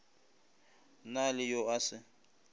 na le yo a se